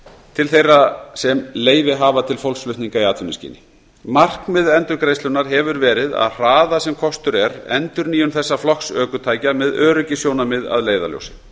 til þeirra sem leyfi hafa til fólksflutninga í atvinnuskyni markmið endurgreiðslunnar hefur verið að hraða sem kostur er endurnýjun þessa flokks ökutækja með öryggissjónarmið að leiðarljósi